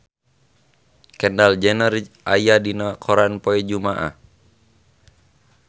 Kendall Jenner aya dina koran poe Jumaah